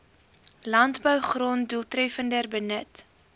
landbougrond doeltreffender benut